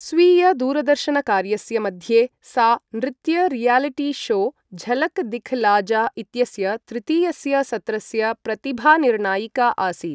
स्वीयदूरदर्शनकार्यस्य मध्ये सा नृत्य रियालिटी शो झलक दिखला जा इत्यस्य तृतीयस्य सत्रस्य प्रतिभानिर्णायिका आसीत्।